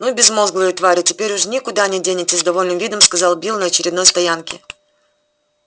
ну безмозглые твари теперь уж никуда не денетесь с довольным видом сказал билл на очередной стоянке